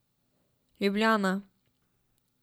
Ljubljana.